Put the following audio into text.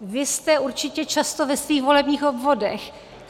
Vy jste určitě často ve svých volebních obvodech.